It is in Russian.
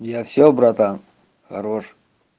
я всё братан хорош